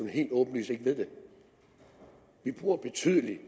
helt åbenlyst ikke ved det vi bruger betydelig